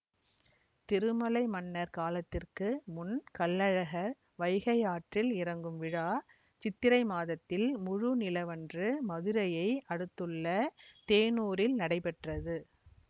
திருமலை மன்னர் காலத்திற்கு முன் கள்ளழகர் வைகை ஆற்றில் இறங்கும் விழா சித்திரை மாதத்தில் முழு நிலவன்று மதுரையை அடுத்துள்ள தேனூரில் நடைபெற்றது